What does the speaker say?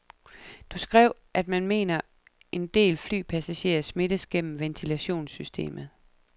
Du skrev, at man mener, en del flypassagerer smittes gennem ventilationssystemet.